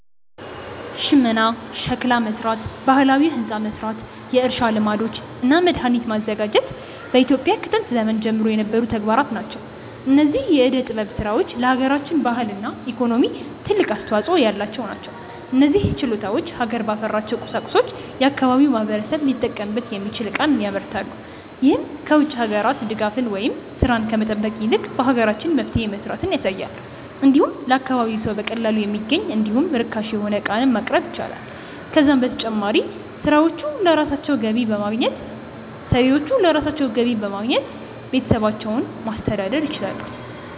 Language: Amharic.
ሽመና፣ ሸክላ መስራት፣ ባህላዊ ህንፃ መስራት፣ የእርሻ ልማዶች እና መድሃኒት ማዘጋጀት በኢትዮጵያ ከጥንት ዘመን ጀምሮ የነበሩ ተግባራት ናቸው። እነዚህ የዕደ ጥበብ ስራዎች ለሃገራችን ባህልና ኢኮኖሚ ትልቅ አስተዋጾ ያላቸው ናቸው። እነዚህ ችሎታዎች ሀገር ባፈራቸው ቁሳቁሶች የአካባቢው ማህበረሰብ ሊጠቀምበት የሚችል ዕቃን ያመርታሉ። ይህም ከ ውጭ ሀገራት ድጋፍን ወይም ስራን ከመጠበቅ ይልቅ በሀገራችን መፍትሄ መስራትን ያሳያል። እንዲሁም ለአካባቢው ሰው በቀላሉ የሚገኝ እንዲሁም ርካሽ የሆነ ዕቃንም ማቅረብ ይችላሉ። ከዛም በተጨማሪ ሰሪዎቹ ለራሳቸው ገቢ በማግኘት ቤተሰባቸውን ማስተዳደር ይችላሉ።